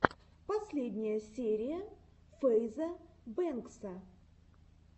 последняя серия фэйза бэнкса